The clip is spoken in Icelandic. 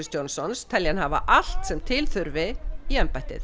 Johnsons telja hann hafa allt sem til þurfi í embættið